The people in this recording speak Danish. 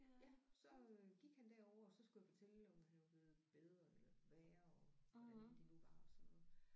Ja så øh gik han derovre og så skulle jeg fortælle om han var blevet bedre eller værre og hvordan det nu var og sådan noget